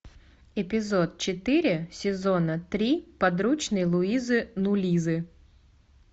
эпизод четыре сезона три подручный луизы нулизы